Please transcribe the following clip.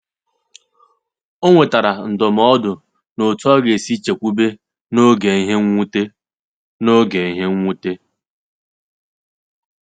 O nwetara ndụmọdụ n’otú ọ ga-esi chekwube n’oge ìhè mwute. n’oge ìhè mwute.